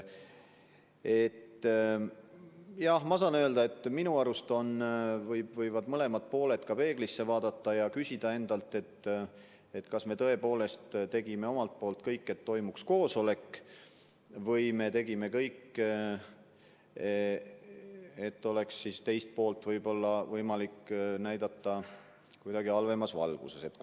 Samas saan öelda, et minu arust võivad mõlemad pooled peeglisse vaadata ja küsida endalt, kas me tõepoolest tegime omalt poolt kõik, et toimuks koosolek, või me tegime kõik, et oleks võimalik teist poolt kuidagi halvemas valguses näidata.